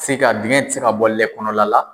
Se ka dingɛn ti se ka bɔ lɛ kɔnɔna la.